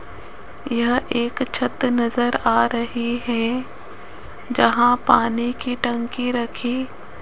यह एक छत नज़र आ रही है जहां पानी की टंकी रखी --